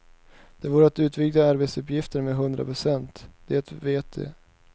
Det vore att utvidga arbetsuppgifterna med hundra procent, det vet de.